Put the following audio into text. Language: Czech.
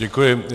Děkuji.